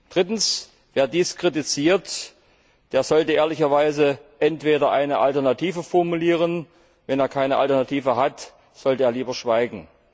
Drittens Wer dies kritisiert, der sollte ehrlicherweise eine Alternative formulieren. Wenn er keine Alternative hat, sollte er lieber schweigen.